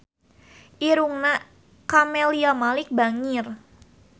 Irungna Camelia Malik bangir